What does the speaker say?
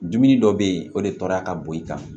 Dumuni dɔ bɛ yen o de tɔɔrɔra ka bo i kan